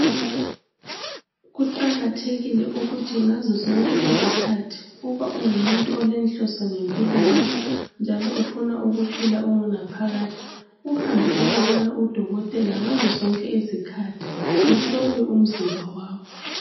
Kuqakathekile ukuthi ngazo zonke izikhathi uba ungumuntu olenhloso ngempilo yakho njalo ufuna ukuphila ungunaphakade uhambe uyobona udokotela ngazo zonke izikhathi uhlolwe umzimba wakho.